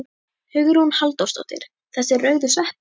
Hugrún Halldórsdóttir: Þessir rauðu sveppir?